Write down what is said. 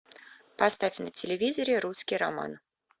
поставь на телевизоре русский роман